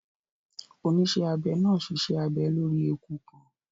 Onísẹ́abẹ náà ṣiṣẹ́ abẹ lórí eku kan